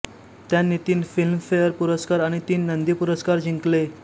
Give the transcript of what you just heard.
त्यांनी तीन फिल्मफेअर पुरस्कार आणि तीन नंदी पुरस्कार जिंकले